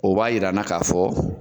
O b'a jira an na k'a fɔ